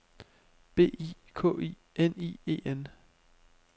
B I K I N I E N